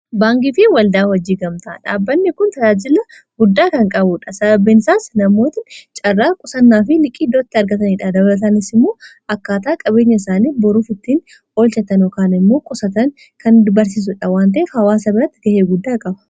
baankii fi waldaa waajjiira gamta'a dhaabbanni kun talaajila guddaa kan qabudha sababbeensaas namoot caarraa qusannaa fi liqiidootti argataniidha dablatanisimuo akkaataa qabeenya isaanii boruufittiin olchatanokaan immoo qusatan kan barsiisudha wantaef hawaasa biratti gahee guddaa qaba.